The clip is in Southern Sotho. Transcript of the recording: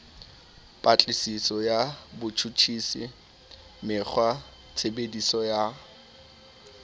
patlisiso ya botjhutjhisi mekgwatshebetso ya